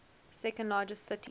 second largest city